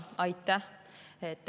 Aitäh!